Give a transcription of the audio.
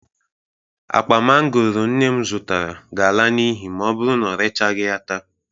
Akpa mangooro nne m zụtara ga-ala n'ihi ma ọ bụru na o rechagị ya taa.